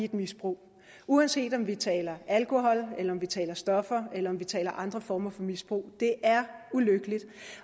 i et misbrug uanset om vi taler alkohol om vi taler stoffer eller om vi taler andre former for misbrug det er ulykkeligt